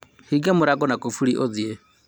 hinga mũrango na kũburi ũthiĩ